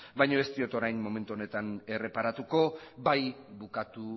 baina ez diot orain momentu honetan erreparatuko bai bukatu